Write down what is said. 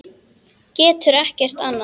Getur ekkert annað.